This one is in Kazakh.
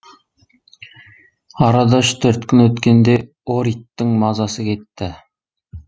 арада үш төрт күн өткенде ориттің мазасы кетті